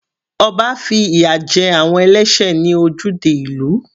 Ọba fi ìyà jẹ àwọn ẹlẹ́sẹ̀ ní ojúde ìlú.